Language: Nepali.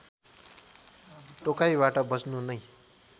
टोकाइबाट बच्नु नै